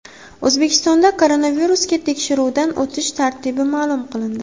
O‘zbekistonda koronavirusga tekshiruvdan o‘tish tartibi ma’lum qilindi.